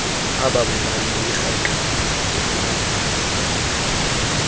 ababulali beyirhangqile bemana